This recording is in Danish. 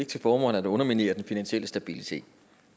til formål at underminere den finansielle stabilitet